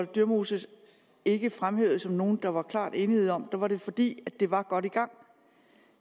dyremose ikke fremhævede som nogle der var klar enighed om var det fordi det var godt i gang